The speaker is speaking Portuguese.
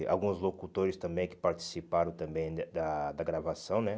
E alguns locutores também que participaram também de da da gravação, né?